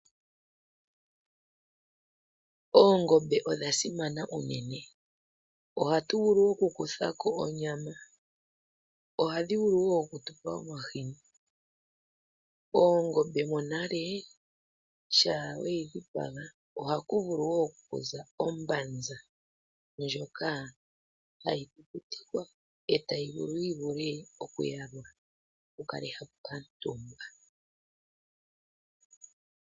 Oongombe odha simana unene, ohatu vulu wo oku kuthako onyama, ohadhi vulu wo oku tupa omahini. Oongombe monale sha weyi dhipaga ohaku vulu wo okuza ombanza ndjoka hayi ku kutikwa etayi vulu yi vule oku yalwa ku kalwe hapu kantumbwa.